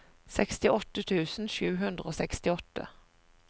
sekstiåtte tusen sju hundre og sekstiåtte